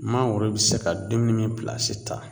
Mangoro bi se ka dumuni ta